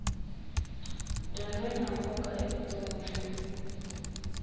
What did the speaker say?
dyondzo yina nkoka avu tonnwini